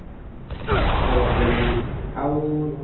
କହିବାକୁ ଗଲେ ଆଉ